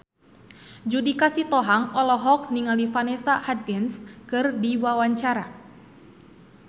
Judika Sitohang olohok ningali Vanessa Hudgens keur diwawancara